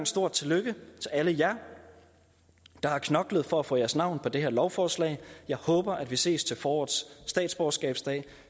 stort tillykke til alle jer der har knoklet for at få jeres navn på det her lovforslag jeg håber vi ses til forårets statsborgerskabsdag